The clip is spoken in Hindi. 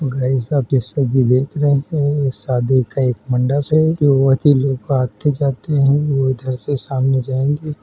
गाइस आप इस वक्त ये आप देख रहे हैं ये शादी का एक मंडप है। बहुत ही लोग आते जाते हैं वो इधर से सामने जाएँगे।